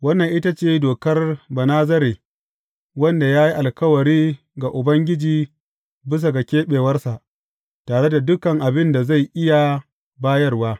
Wannan ita ce dokar Banazare wanda ya yi alkawari ga Ubangiji bisa ga keɓewarsa, tare da duk abin da zai iya bayarwa.